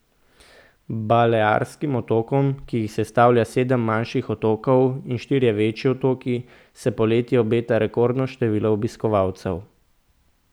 Balearskim otokom, ki jih sestavlja sedem manjših otokov in štirje večji otoki, se poleti obeta rekordno število obiskovalcev.